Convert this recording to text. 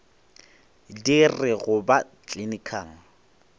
di re go ba clinical